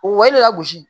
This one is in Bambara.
O de la gosi